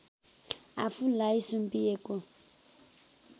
आफूलाई सुम्पिएको